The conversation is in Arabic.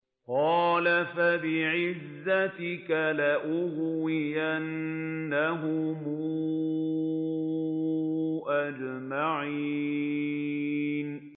قَالَ فَبِعِزَّتِكَ لَأُغْوِيَنَّهُمْ أَجْمَعِينَ